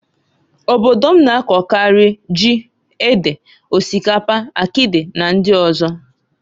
Obodo m na-akọkarị, ji, ede, osikapa, akịdị na ndị ọzọ.